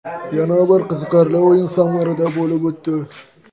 Yana bir qiziqarli o‘yin Samarada bo‘lib o‘tdi.